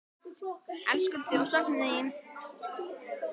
Elskum þig og söknum þín.